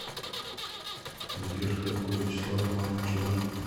сбер кто такой вячеслав иванович иванов